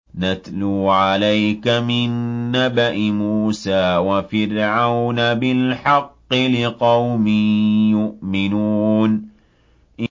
نَتْلُو عَلَيْكَ مِن نَّبَإِ مُوسَىٰ وَفِرْعَوْنَ بِالْحَقِّ لِقَوْمٍ يُؤْمِنُونَ